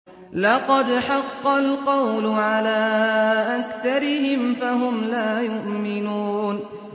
لَقَدْ حَقَّ الْقَوْلُ عَلَىٰ أَكْثَرِهِمْ فَهُمْ لَا يُؤْمِنُونَ